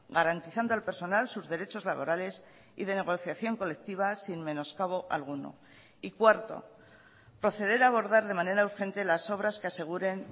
garantizando al personal sus derechos laborales y de negociación colectiva sin menoscabo alguno y cuarto proceder a abordar de manera urgente las obras que aseguren